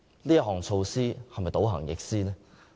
這措施是否倒行逆施呢？